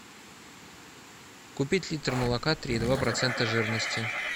купить литр молока три и два процента жирности